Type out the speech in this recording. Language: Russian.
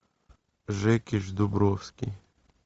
жекич дубровский